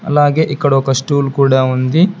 అలాగే ఇక్కడ ఒక స్టూల్ కూడా ఉంది.